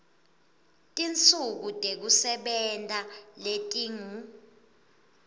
tinsuku tekusebenta letingu